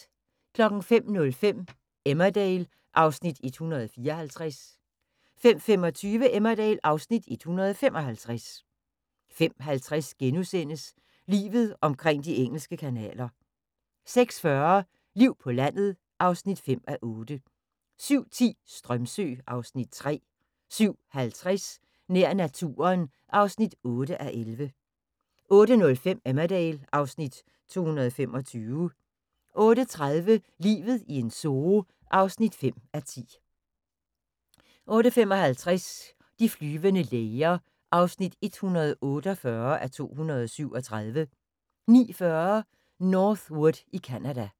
05:05: Emmerdale (Afs. 154) 05:25: Emmerdale (Afs. 155) 05:50: Livet omkring de engelske kanaler * 06:40: Liv på landet (5:8) 07:10: Strömsö (Afs. 3) 07:50: Nær naturen (8:11) 08:05: Emmerdale (Afs. 225) 08:30: Livet i en zoo (5:10) 08:55: De flyvende læger (148:237) 09:40: North Wood i Canada